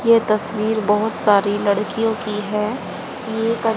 ये तस्वीर बहोत सारी लड़कियों की है ये--